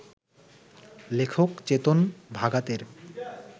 লেখক চেতন ভাগাতের